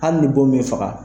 Hali ni' bon min faga